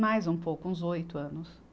Mais um pouco, uns oito anos.